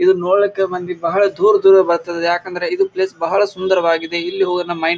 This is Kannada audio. ಇದನ್ನ ನೋಡ್ಲಿಕ್ಕ ಮಂದಿ ಬಹಳ ದೂರ ದೂರ ಬರ್ತಾರ ಯಾಕೆಂದ್ರ ಇದು ಪ್ಲೇಸ್ ಬಹಳ ಸುಂದರವಾಗಿದೆ. ಇಲ್ಲಿ ಹೋಗಿ ನಮ್ ಮೈಂಡ್ --